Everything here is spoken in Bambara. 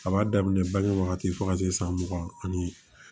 A b'a daminɛ bange wagati fo ka se san mugan ani